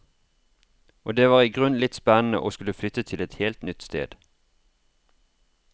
Og det var i grunnen litt spennende å skulle flytte til et helt nytt sted.